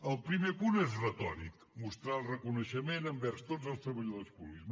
el primer punt és retòric mostrar el reconeixement envers tots els treballadors públics